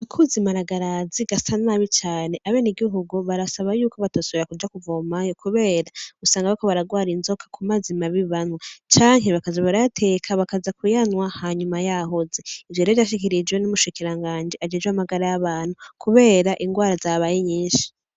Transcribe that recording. Akuzi maragarazi gasa nabi cane ,abenegihugu ngo babasaba yuko batosubira kuja kuvomayo, kubera usanga bariko bararwara izoka kumazi mabi banywa; canke bakaza barayateka bakaza kuyanywa hanyuma yahoze. Ivyo rero vyashikirijwe n'umushikiranganji ajejwe ivy'amagara y'abantu kubera ingwara zabaye nyinshi.